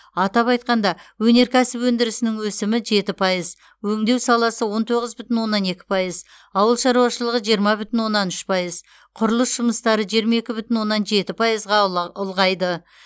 атап айтқанда өнеркәсіп өндірісінің өсімі жеті пайыз өңдеу саласы он тоғыз бүтін оннан екі пайыз ауыл шаруашылығы жиырма бүтін оннан үш пайыз құрылыс жұмыстары жиырма екі бүтін оннан жеті пайызға ұла ұлғайды